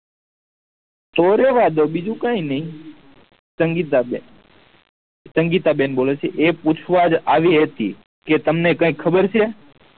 તો રેહવા દો બીજું કાય નહી સંગીતા બેન સંગીતા બેન બોલે છે એ પૂછવા જ આવી હતી કે તમને કાય ખબર છે